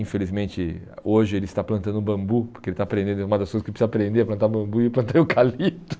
Infelizmente, hoje ele está plantando bambu, porque ele está aprendendo, é uma das coisas que ele precisa aprender, plantar bambu e plantar eucalipto.